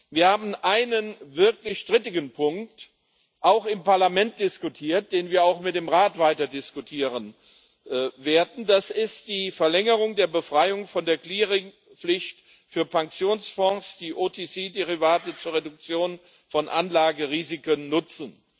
Wir haben einen wirklich strittigen Punkt auch im Parlament diskutiert, den wir auch mit dem Rat weiterdiskutieren werden das ist die Verlängerung der Befreiung von der Clearingpflicht für Pensionsfonds, die OTC Derivate zur Reduktion von Anlagerisiken nutzen.